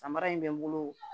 Samara in bɛ n bolo